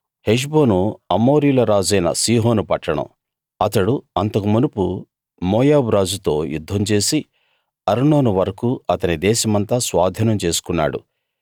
హెష్బోను అమోరీయుల రాజైన సీహోను పట్టణం అతడు అంతకు మునుపు మోయాబు రాజుతో యుద్ధం చేసి అర్నోను వరకూ అతని దేశమంతా స్వాధీనం చేసుకున్నాడు